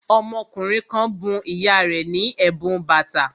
Ọmọkùnrin kan bun ìyá rẹ̀ ní ẹ̀bùn bàtà